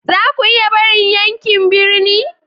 Za ku iya barin yankin birni?